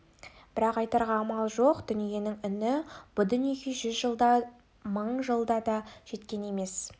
бірақ айтарға амал жоқ дүниенің үні бұ дүниеге жүз жылда да мың жылда да жеткен емес